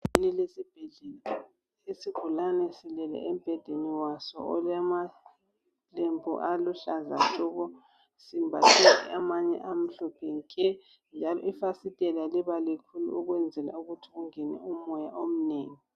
Egumbini elesibhedlela, isigulane silele embhedenei waso olamalembu aluhlaza tshoko simbhathe amanye amahlophe nke, njalo ifasitela liba likhulu ukwenzela ukuthi kungene umoya omunengi.